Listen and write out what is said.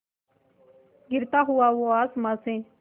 गिरता हुआ वो आसमां से